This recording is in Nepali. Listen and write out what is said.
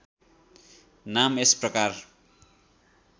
नाम यस प्रकार